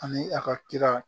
Ani a ka kira